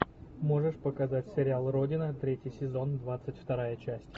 можешь показать сериал родина третий сезон двадцать вторая часть